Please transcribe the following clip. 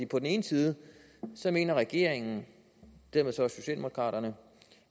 på den ene side mener regeringen dermed så også socialdemokraterne